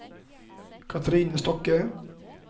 Katrine Stokke